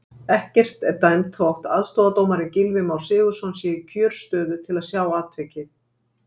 Ekkert er dæmt þó aðstoðardómarinn Gylfi Már Sigurðsson sé í kjörstöðu til að sjá atvikið.